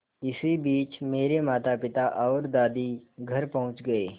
इसी बीच मेरे मातापिता और दादी घर पहुँच गए